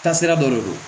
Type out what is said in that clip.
Taasira dɔ de don